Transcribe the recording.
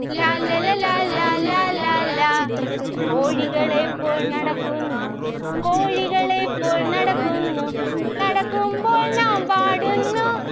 ലാല്ലല ലാലാ ലാലാ ലാ. കോഴികളെ പോൽ നടക്കുന്നു കോഴികളെ പോൽ നടക്കുന്നു. നടക്കുമ്പോൾ നാം പാടുന്നു